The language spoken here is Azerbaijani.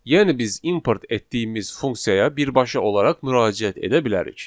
Yəni biz import etdiyimiz funksiyaya birbaşa olaraq müraciət edə bilərik.